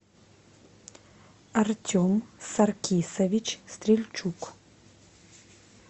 артем саркисович стрельчук